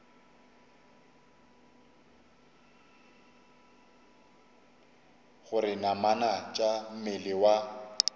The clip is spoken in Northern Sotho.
gore namana tša mmele wa